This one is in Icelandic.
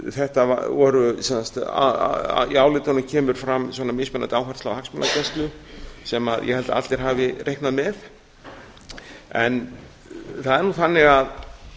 þetta voru sem sagt í álitunum kemur fram mismunandi áhersla á hagsmunagæslu sem ég held að allir hafi reiknað með en það er nú þannig að